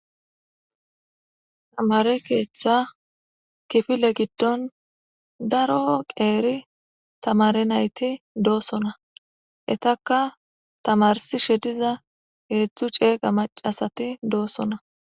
Tamare keththa kiffile giidon daaro qeri tamare nayti dossona ettaka tamarsishe diza heezhzhu cegga macasati dossona.